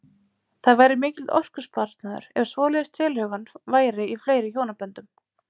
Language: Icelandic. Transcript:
Það væri mikill orkusparnaður ef svoleiðis tilhögun væri í fleiri hjónaböndum.